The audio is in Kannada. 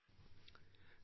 ಫೋನ್ ಕಾಲ್ ಮುಕ್ತಾಯ